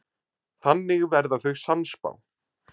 Þannig verða þau sannspá.